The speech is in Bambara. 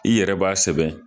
I yɛrɛ b'a sɛbɛn